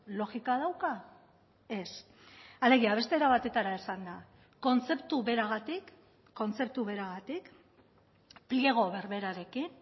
logika dauka ez alegia beste era batetara esanda kontzeptu beragatik kontzeptu beragatik pliego berberarekin